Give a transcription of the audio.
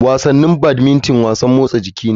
Wasannin badmington wasan motsa jiki ne.